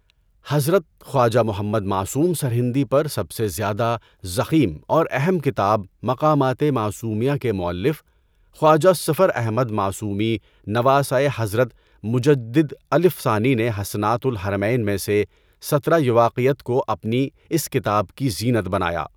حضرت خواجہ محمد معصوم سرہندی پر سب سے زیادہ ضخیم اور اہم کتاب مقامات معصومیہ کے مؤلف خواجہ صفر احمد معصومی نواسۂ حضرت مجدد الف ثانی نے حسنات الحرمین میں سے سترہ یواقیت کو اپنی اس کتاب کی زینت بنایا۔